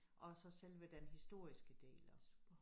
Og så selve den historiske del også